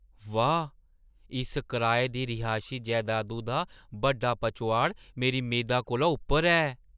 वाह्, इस कराए दी रिहायशी जैदादु दा बड्डा पचोआड़ मेरी मेदा कोला उप्पर ऐ!